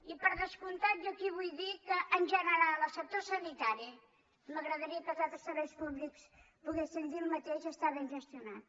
i per descomp·tat jo aquí vull dir que en general el sector sanitari i m’agradaria que dels altres serveis públics poguéssim dir el mateix està ben gestionat